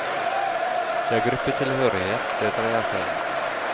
Det er gruppetilhørighet det dreier seg om.